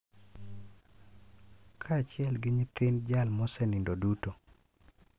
Kaachiel gi nyithind jal mosenindo duto.